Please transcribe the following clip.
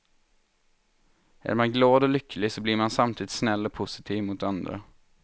Är man glad och lycklig så blir man samtidigt snäll och positiv mot andra.